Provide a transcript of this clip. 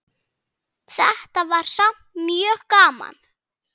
Þetta var samt mjög gaman.